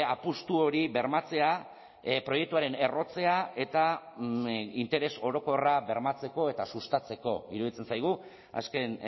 apustu hori bermatzea proiektuaren errotzea eta interes orokorra bermatzeko eta sustatzeko iruditzen zaigu azken